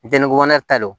Jɛnɛku fana ta don